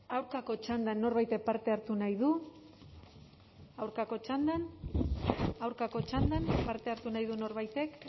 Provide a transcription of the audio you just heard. aurkako txandan norbaitek parte hartu nahi du aurkako txandan aurkako txandan parte hartu nahi du norbaitek